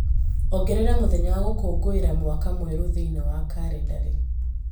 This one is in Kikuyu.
ongerera mũthenya wa gũkũngũĩra mwaka mwerũ thĩinĩ wa kalendarĩ